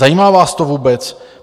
Zajímá vás to vůbec?